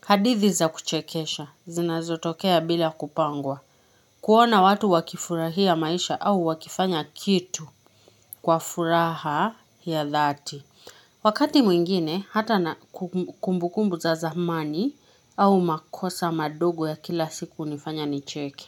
Hadithi za kuchekesha, zinazotokea bila kupangwa. Kuona watu wakifurahia maisha au wakifanya kitu kwa furaha ya dhati. Wakati mwingine, hata na kumbukumbu za zamani au makosa madogo ya kila siku hunifanya nicheke.